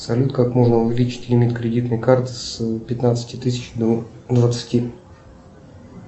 салют как можно увеличить лимит кредитной карты с пятнадцати тысяч до двадцати